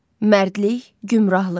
Mərdlik, gümrahlıq.